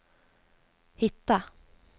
hitta